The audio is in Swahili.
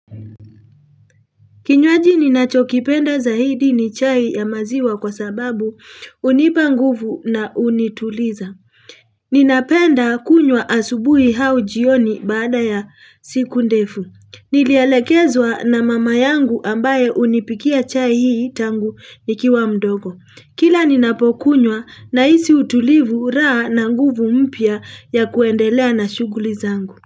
Kinywaji ninachokipenda zaidi ni chai ya maziwa kwa sababu unipa nguvu na unituliza. Ninapenda kunywa asubuhi hau jioni baada ya siku ndefu. Nilialekezwa na mama yangu ambaye unipikia chai hii tangu nikiwa mdogo. Kila ninapokunywa nahisi utulivu raha na nguvu mpya ya kuendelea na shuguli zangu.